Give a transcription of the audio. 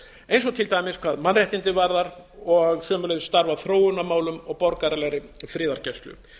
eins og til dæmis hvað mannréttindi varðar og sömuleiðis starf að þróunarmálum og borgaralegri friðargæslu